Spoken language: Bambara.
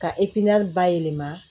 Ka bayɛlɛma